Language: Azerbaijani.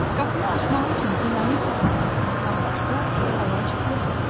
Qapını açmaq üçün dinamitlə partlatmaqdan başqa əlac yox idi.